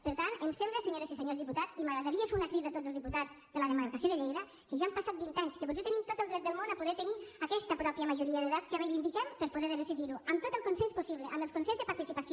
per tant em sembla senyores i senyors diputats i m’agradaria fer una crida a tots els diputats de la demarcació de lleida que ja han passat vint anys que potser tenim tot el dret del món a poder tenir aquesta pròpia majoria d’edat que reivindiquem per a poder decidir ho amb tot el consens possible amb els consells de participació